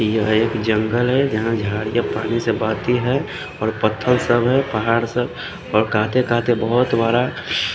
ये जंगल है जहा जाड के पानी से भाती है और पत्तो सा है पहाड़ सा और काते काते बोहोत बड़ा--